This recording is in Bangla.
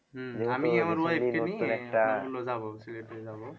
যাব সিলেটে যাব